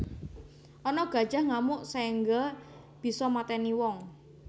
Ana gajah ngamuk saengga bisa mateni wong